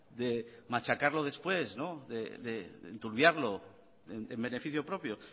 de machacarlo después de enturbiarlo en beneficio propio